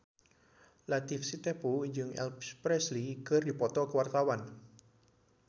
Latief Sitepu jeung Elvis Presley keur dipoto ku wartawan